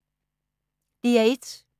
DR1